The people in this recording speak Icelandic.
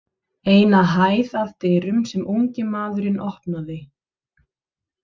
Eina hæð að dyrum sem ungi maðurinn opnaði.